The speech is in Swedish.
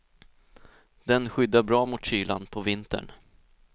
Den skyddar bra mot kylan på vintern.